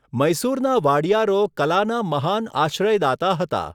મૈસૂરના વાડીયારો કલાના મહાન આશ્રયદાતા હતા.